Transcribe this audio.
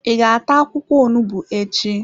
I ga-ata akwụkwọ onugbu echi?